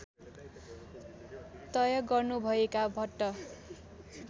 तय गर्नुभएका भट्ट